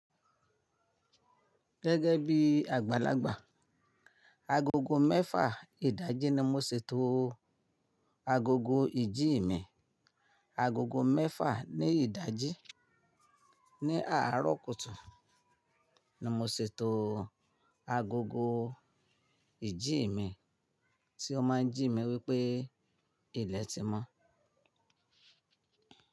Gẹ́gẹ́ bí àgbàlagbà, agogo mẹ́fà ìdajì ni mo ṣètò agogo ìjí mi. Agogo mẹ́fà ní ìdajì ní àárọ̀ kùtù ni mo ṣètò agogo ìjí mi tí ó máa ń jí mi wípé ilẹ̀ ti mọ́.